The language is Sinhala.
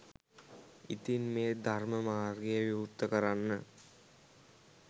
ඉතින් මේ ධර්ම මාර්ගය විවෘත කරන්න